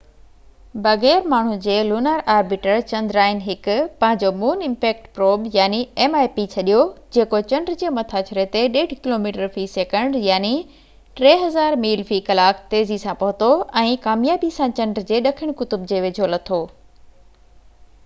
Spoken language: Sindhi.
بغير ماڻهو جي لونر آربيٽر چندرائن-1 پنهنجو مون امپيڪٽ پروب mip ڇڏيو، جيڪو چنڊ جي مٿاڇري تي 1.5 ڪلوميٽر في سيڪنڊ 3000 ميل في ڪلاڪ تيزي سان پهتو، ۽ ڪاميابي سان چنڊ جي ڏکڻ قطب جي ويجهو لٿو